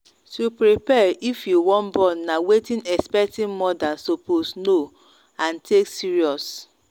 to prepare if you wan born na wetin expecting mothers suppose know and take serious.